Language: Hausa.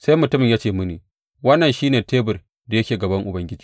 Sai mutumin ya ce mini, Wannan shi ne tebur da yake a gaban Ubangiji.